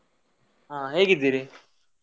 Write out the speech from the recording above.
"ಹಾ ಹೇಗಿದ್ದೀರಿ?"""